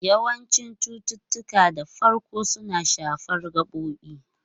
Yawancin cututtuka da farko suna shafar gabobin.